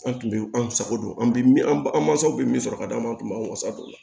An tun bɛ an sago don an bɛ min an mansaw bɛ min sɔrɔ ka d'an ma an tun b'a wasa don